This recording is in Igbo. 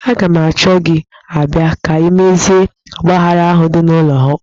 Aga m achọ gị abịa ka imezie ọgbaaghara ahụ dị n'ụlọ ụka.